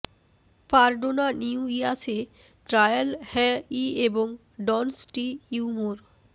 পারডোনা নিউইয়াসে ট্রায়াল হ্য ই এবং ডনস টি ইউমোর